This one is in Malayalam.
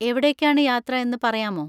എവിടേക്കാണ് യാത്ര എന്ന് പറയാമോ?